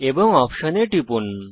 এবং অপশন এ টিপুন